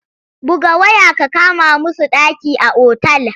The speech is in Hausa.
Buga waya ka kama musu ɗaki a otal!